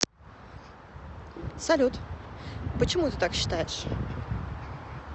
салют почему ты так считаешь